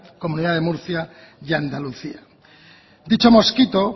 comunidad de murcia y andalucía dicho mosquito